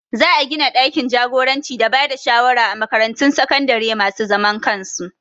Za a gina ɗakin jagoranci da bada shawara a makaratun sakandare masu zaman kansu